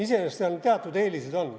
Iseenesest seal teatud eelised on.